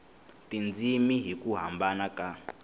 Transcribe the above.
tindzimi hi ku hambana ka